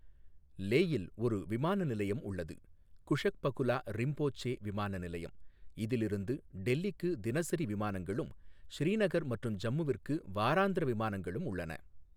லேயில் ஒரு விமான நிலையம் உள்ளது குஷக் பகுலா ரிம்போச்சே விமான நிலையம் இதிலிருந்து டெல்லிக்கு தினசரி விமானங்களும் ஸ்ரீநகர் மற்றும் ஜம்முவிற்கு வாராந்திர விமானங்களும் உள்ளன.